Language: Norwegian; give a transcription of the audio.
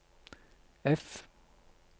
F